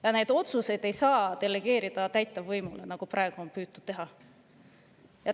Ja neid otsuseid ei saa delegeerida täitevvõimule, nagu praegu on püütud teha.